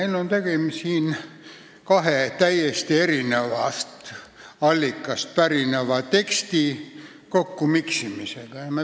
Siin on tegu kahe täiesti erinevast allikast pärineva teksti kokkumiksimisega.